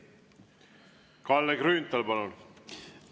Kalle Grünthal, palun!